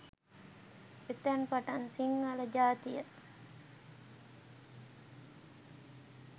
එතැන් පටන් සිංහල ජාතිය